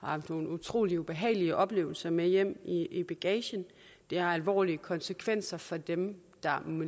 har haft nogle utrolig ubehagelige oplevelser med hjem i i bagagen det har alvorlige konsekvenser for dem der